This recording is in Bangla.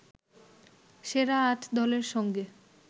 সেরা আট দলের সঙ্গে